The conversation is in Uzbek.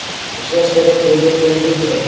Ishlash kerak”, deydi Enrike.